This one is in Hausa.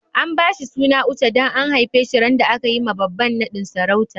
An ba shi suna Òche dan an haife shi ran da aka yi ma baba'n nadin sarauta.